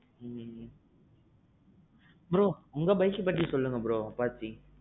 bro உங்க bikeஅ பத்தி சொல்லுங்க bro Apache.